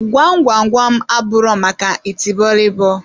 Gwam gwam gwam, abụro maka itibọrịbọ.